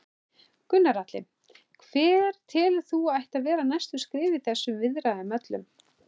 Gunnar Atli: Hver telur þú að ættu að vera næstu skref í þessum viðræðum öllum?